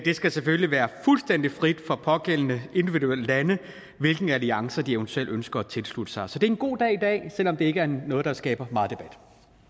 skal selvfølgelig være fuldstændig frit for de pågældende individuelle lande hvilke alliancer de eventuelt ønsker at tilslutte sig så det er en god dag i dag selv om det ikke er noget der skaber meget debat